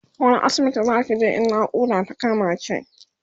wani asibitin Zaki je in naƙuda ta kama ki?